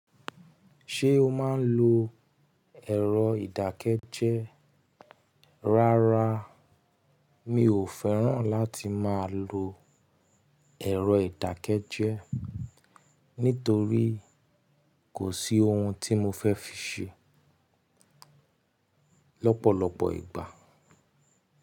Ṣé o máa ń lo ẹ̀rọ ìdákẹ́jẹ́? Rárá mi ò fẹ́ràn láti máa lo ẹ̀rọ ìdákẹ́jẹ́, nítorí kò sí ohun tí mo fẹ́ fi ṣe lọ́pọ̀lọpọ̀ ìgbà.